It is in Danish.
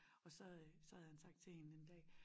Og så øh så havde han sagt til hende en dag